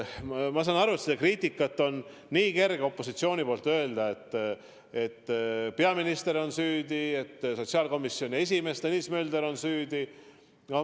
Ma saan aru, et opositsioonil on kerge seda kriitikat teha, et peaminister on süüdi, et sotsiaalkomisjoni esimees Tõnis Mölder on süüdi.